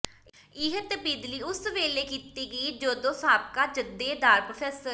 ਇਹ ਤਬਦੀਲੀ ਉਸ ਵੇਲੇ ਕੀਤੀ ਗਈ ਜਦੋਂ ਸਾਬਕਾ ਜਥੇਦਾਰ ਪ੍ਰੋ